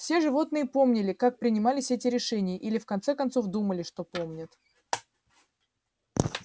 все животные помнили как принимались эти решения или в конце концов думали что помнят